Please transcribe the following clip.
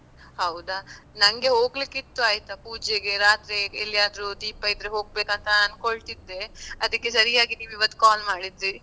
ಹೌದಾ. ನಂಗೆ ಹೋಗ್ಲಿಕ್ಕೆ ಇತ್ತು ಆಯ್ತಾ ಪೂಜೆಗೆ ರಾತ್ರಿ ಎಲ್ಲಿಯಾದ್ರೂ ದೀಪ ಇದ್ರೆ ಹೊಗ್ಬೇಕಂತ ಆಂಕೊಳ್ತಿದ್ದೆ, ಅದಕ್ಕೆ ಸರಿಯಾಗಿ ನೀನ್ ಇವತ್ call ಮಾಡಿದ್ದಿ.